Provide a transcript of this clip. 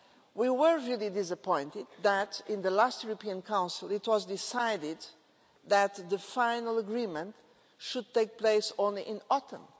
We were really disappointed that, in the last European Council, it was decided that the final agreement should take place only in autumn.